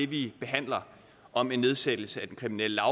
vi behandler om en nedsættelse af den kriminelle